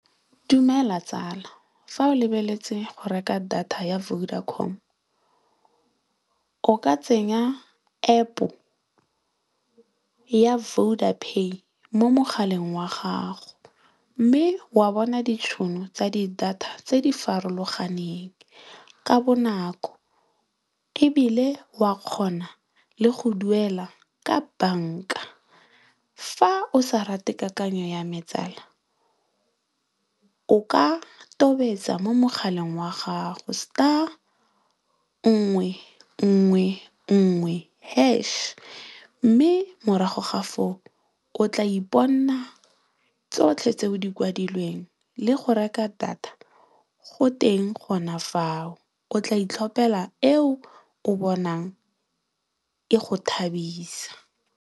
Dumela tsala fa o lebeletse go reka data ya Vodacom o ka tsenya App ya Vodapay mo mogaleng wa gago mme wa bona ditšhono tsa di data tse di farologaneng ka bonako. Ebile, wa kgona le go duela ka banka fa o sa rate kakanyo ya me tsala o ka tobetsa mo mogaleng wa gago star, nngwe, nngwe, nngwe hash mme morago ga foo o tla iponna tsotlhe tse o di kwadilweng le go reka data go teng gona fao o tla itlhopela eo o bonang e go thabisa.